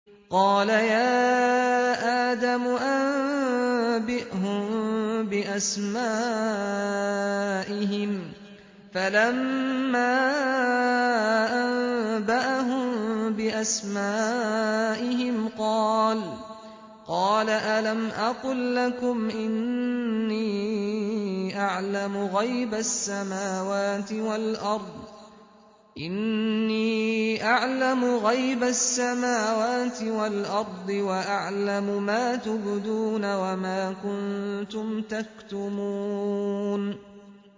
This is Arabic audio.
قَالَ يَا آدَمُ أَنبِئْهُم بِأَسْمَائِهِمْ ۖ فَلَمَّا أَنبَأَهُم بِأَسْمَائِهِمْ قَالَ أَلَمْ أَقُل لَّكُمْ إِنِّي أَعْلَمُ غَيْبَ السَّمَاوَاتِ وَالْأَرْضِ وَأَعْلَمُ مَا تُبْدُونَ وَمَا كُنتُمْ تَكْتُمُونَ